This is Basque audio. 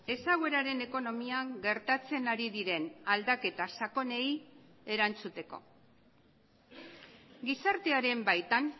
ezagueraren ekonomian gertatzen ari diren aldaketa sakonei erantzuteko gizartearen baitan